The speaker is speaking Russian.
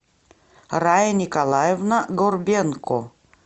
рая николаевна горбенко